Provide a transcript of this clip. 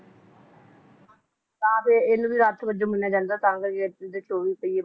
ਤਾਂ ਫੇਰ ਇਹਨਾਂ ਦੇ ਰਥ ਵਜੋਂ ਮੰਨਿਆ ਜਾਂਦਾ ਤਾਂ ਕਰਕੇ ਚੌਵੀ ਪਹੀਏ